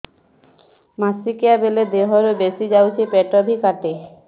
ମାସିକା ବେଳେ ଦିହରୁ ବେଶି ଯାଉଛି ପେଟ ବି କାଟେ